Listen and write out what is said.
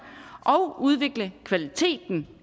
og udvikle kvaliteten